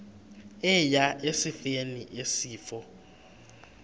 eya esifeni isifo